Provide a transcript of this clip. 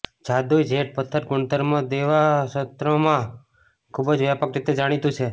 જાદુઈ જેડ પથ્થર ગુણધર્મો દવા ક્ષેત્રમાં ખૂબ જ વ્યાપક રીતે જાણીતુ છે